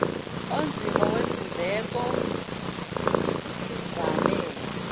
onzima wezindleko okuvame